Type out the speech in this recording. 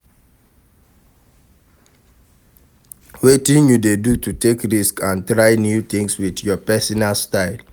wetin you dey do to take risk and try new tings with your pesinal style?